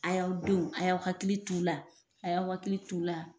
A y'aw denw a y'aw hakili t'u la a y'aw hakili t'u la